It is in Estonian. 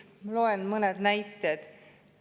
Loen mõned näited.